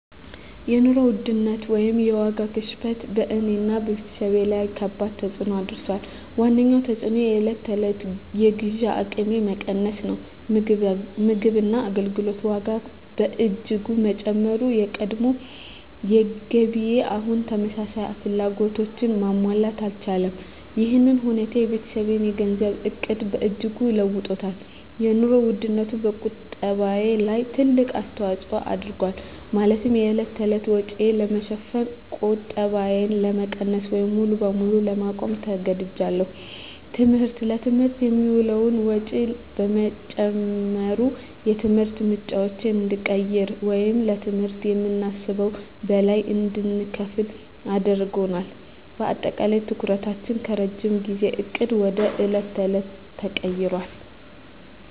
የኑሮ ውድነት (የዋጋ ግሽበት) በእኔና በቤተሰቤ ላይ ከባድ ተፅዕኖ አሳድሯል። ዋነኛው ተፅዕኖ የዕለት ተዕለት የግዢ አቅሜ መቀነስ ነው። የምግብና የአገልግሎት ዋጋ በእጅጉ በመጨመሩ፣ የቀድሞ ገቢዬ አሁን ተመሳሳይ ፍላጎቶችን ማሟላት አልቻለም። ይህ ሁኔታ የቤተሰቤን የገንዘብ ዕቅድ በእጅጉ ለውጦታል - የኑሮ ውድነቱ በቁጠባዬ ላይ ትልቅ አስተዋጽኦ አድርጓል፤ ማለትም የዕለት ተዕለት ወጪን ለመሸፈን ቁጠባዬን ለመቀነስ ወይም ሙሉ በሙሉ ለማቆም ተገድጃለሁ። ትምህርት: ለትምህርት የሚውለው ወጪ በመጨመሩ፣ የትምህርት ምርጫዎችን እንድንቀይር ወይም ለትምህርት ከምናስበው በላይ እንድንከፍል አስገድዶናል። በአጠቃላይ፣ ትኩረታችን ከረጅም ጊዜ ዕቅድ ወደ የዕለት ተዕለት ተቀይሯል።